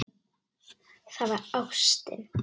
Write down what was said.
Það var ástin.